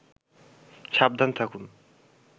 সাবধান থাকুন